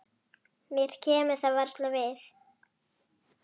Mér kemur það varla við.